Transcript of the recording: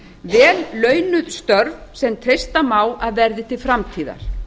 vel launuð störf sem treysta má að verði til framtíðar